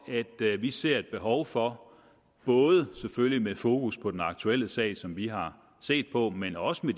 at vi ser et behov for både selvfølgelig med fokus på den aktuelle sag som vi har set på men også med